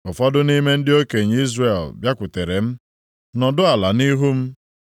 Ụfọdụ nʼime ndị okenye Izrel bịakwutere m, nọdụ ala nʼihu m.